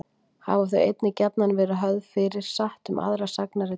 Hafa þau einnig gjarnan verið höfð fyrir satt um aðra sagnaritun hans.